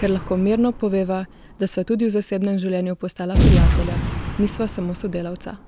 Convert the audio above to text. ker lahko mirno poveva, da sva tudi v zasebnem življenju postala prijatelja, nisva samo sodelavca ...